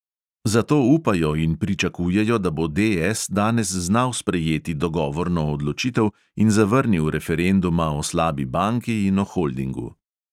Zato upajo in pričakujejo, da bo DS danes znal sprejeti dogovorno odločitev in zavrnil referenduma o slabi banki in o holdingu.